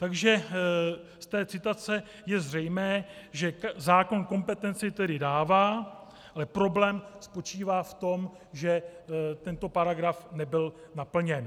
Takže z té citace je zřejmé, že zákon kompetenci tedy dává, ale problém spočívá v tom, že tento paragraf nebyl naplněn.